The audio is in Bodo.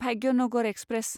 भाग्यनगर एक्सप्रेस